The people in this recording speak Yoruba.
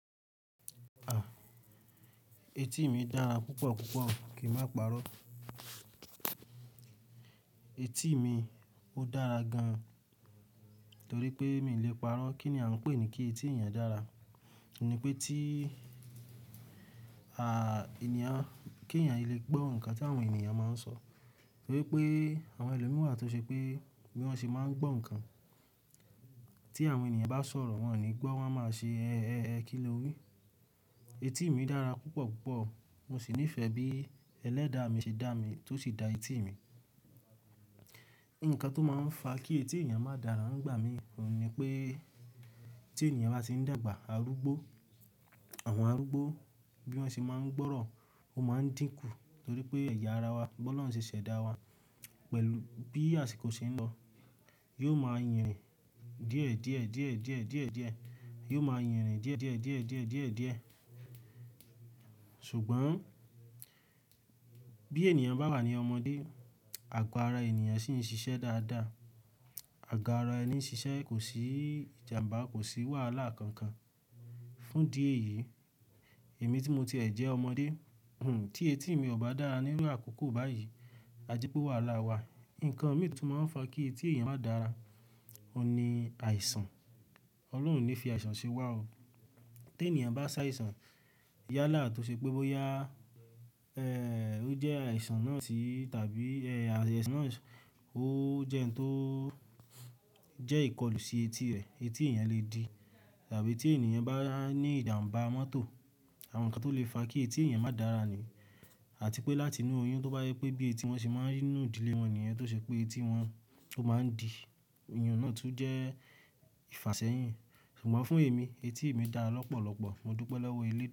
Etí mi dára púpọ̀ púpọ̀ kì ń má parọ́. Etí mi ó dára gan, torí pé mi ò le parọ́ kí ni à ń pè ní kí etí ènìyàn dára. Òun ni pé tí, ènìyàn, kí ènìyàn lè gbọ́ ǹkan tí àwọn ènìyàn máa ń sọ. Nítorí pé àwọn ẹlòmíràn wà tó ṣe pé bí wọ́n ṣe máa ń gbọ́ ǹkan tí àwọn ènìyàn bá sọ̀rọ̀, wọ́n ò ní gbọ́, wọ́n a máa ṣe ẹ́, ẹ́, kí ló wí. Etí mi dára púpọ̀ púpọ̀, mo sì nífẹ̀ẹ́ bí ẹlẹ́dàá mi ṣe dá mi tó sì da etí mi. Ǹkan tó máa ń fa kí etí ènìyàn máa dàrà ní gbà mí òun ni pé tí ènìyàn bá tì ń dàgbà, àrúgbó, àwọn àrúgbó bí wọ́n ṣe máa ń gbọ́rọ̀ ó máa ń díkù torí pé ẹ̀yà ara wa, bi ọlọrun ṣẹ̀ ṣẹ̀dá wa pẹ̀lú bí àsìkò ṣe ń lọ, yóò máa yànrìn díẹ̀, díẹ̀, díẹ̀, díẹ̀, díẹ̀, díẹ̀. Yóò máa yànrìn díẹ̀, díẹ̀, díẹ̀, díẹ̀, díẹ̀, díẹ̀. Ṣùgbọ́n bí ènìyàn bá wà ní ọmọdé, àgo ara ènìyàn sì ń ṣiṣẹ́ dáadáa. Àgo ara ẹni ń ṣiṣẹ́ kò sí ìjàmbá, kò sí wàhálà kankan. Fún di èyí, èmi tí mo ti ẹ̀ jẹ́ ọmọdé, tí etí mi ò bá dára níru àkókò báyìí, ajé pe wàhálà wa. Ǹkan mìí tí ó máa ń fa kí etí ènìyàn máa dàrà, òun ni àìsàn. Ọlọ́run ò ní fi àìsàn ṣe wá o. Tí ènìyàn bá sá àìsàn yálà tó ṣe pé bóyá, ó jẹ́ àìsàn náà sì tàbí, àìsàn náà ó jẹ́ òun tó jẹ́ ìkọlù sí etí rẹ̀, etí èèyàn lè di. Tàbí tí ènìyàn bá ní ìjàmbá mọ́tò, àwọn ǹkan tó lè fa kí etí ènìyàn máa dàrà ni. Àti pé láti inú oyún tó bá yẹ pé bí etí wọn ṣe máa ri ninù ìdílé wọn niyen tó ṣe pé etí wọn ó máa ń di, ìyẹn náà tún jẹ́ ìfàsẹ́yìn. Ṣùgbọ́n fún èmi, etí mi dára lọ́pọ̀lọpọ̀, mo dúpẹ́ lọ́wọ́ ilé.